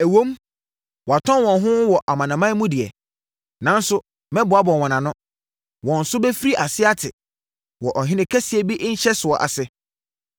Ɛwom, wɔatɔn wɔn ho wɔ amanaman no mu deɛ, nanso mɛboaboa wɔn ano. Wɔn so bɛfiri aseɛ ate wɔ ɔhene kɛseɛ bi nhyɛsoɔ ase.